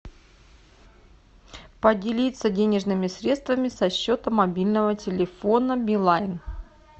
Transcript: поделиться денежными средствами со счета мобильного телефона билайн